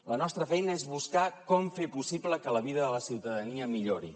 la nostra feina és buscar com fer possible que la vida de la ciutadania millori